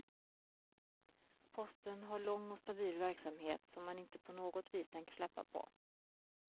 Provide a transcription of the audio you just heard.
Posten har lång och stabil verksamhet som man inte på något vis tänker släppa på.